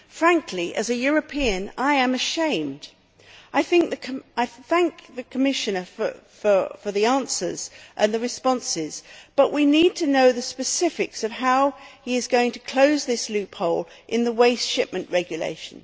Frankly, as a European, I am ashamed. I thank the Commissioner for the answers and the responses, but we need to know the specifics of how he is going to close this loophole in the Waste Shipment Regulation.